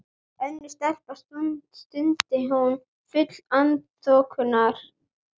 Önnur stelpa, stundi hún full vanþóknunar.